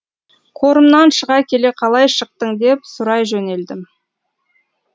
қорымнан шыға келе қалай шықтың деп сұрай жөнелдім